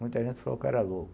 Muita gente falou que era louco.